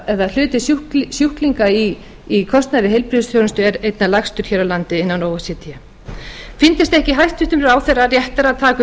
eða hlutur sjúklinga í kostnaði í heilbrigðisþjónustu er einna lægstur hér á landi innan o e c d fyndist ekki hæstvirtur ráðherra réttara að taka upp